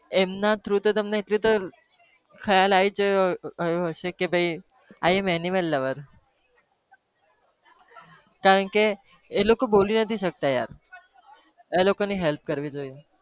એમના through તો તમને એટલી તો ખ્યાલ આવી જ ગયો હશે કે i am animal lover કારણ કે એ લોકો બોલી નથી શકતા યાર એ લોકો ની help કરવી જોઈએ.